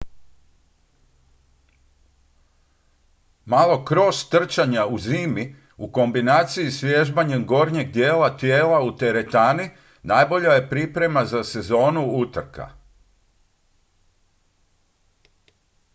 malo cross trčanja zimi u kombinaciji s vježbanjem gornjeg dijela tijela u teretani najbolja je priprema za sezonu utrka